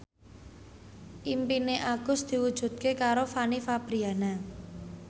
impine Agus diwujudke karo Fanny Fabriana